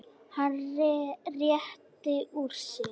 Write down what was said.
Hann réttir úr sér.